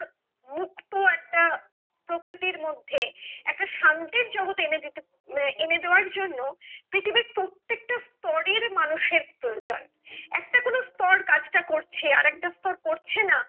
মুক্ত একটা প্রকৃতির মধ্যে একটা শান্তির জগৎ এনেদিতে উম এনে দেয়ার জন্য পৃথিবীর প্রত্যেকটা স্তরের মানুষের প্রয়োজন একটা কোনো স্তর কাজটা করছে আরেকটা স্তর করছেনা।